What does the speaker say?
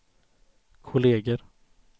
kolleger